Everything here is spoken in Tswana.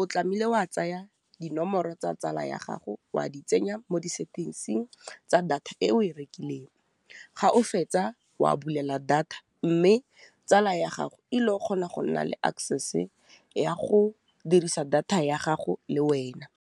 o tlamile wa tsaya dinomoro tsa tsala ya gago wa di tsenya mo di settings-ing tsa data e o e rekileng, ga o fetsa wa bulela data mme tsala ya gago ilo kgona go nna le access ya go dirisa data ya gago le wena.